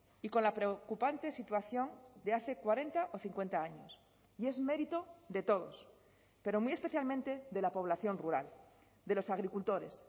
y con la preocupante situación de hace cuarenta o cincuenta años y es mérito de todos pero muy especialmente de la población rural de los agricultores